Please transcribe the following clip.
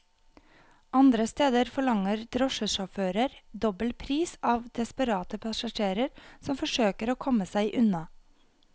Andre steder forlanger drosjesjåfører dobbel pris av desperate passasjerer som forsøker å komme seg unna.